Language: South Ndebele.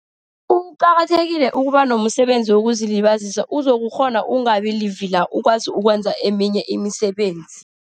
Kuqakathekile ukuba nomsebenzi wokuzilibazisa, uzokukghona ukungabi livila. Ukwazi ukwenza eminye imisebenzi.